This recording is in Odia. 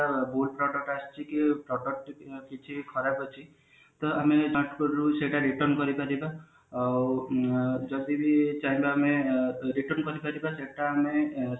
good product ଆସିଛି କି product କିଛି ଖରାପ ଅଛି ତ ଆମେ ତାଙ୍କ ତରଫରୁ ସେଟା କୁ return କରିପାରିବା ଆଉ ଉଁ ଯଦି ବି ଚାହିଁଲୁ ଆମେ return କରିପାରିବା return ମାନେ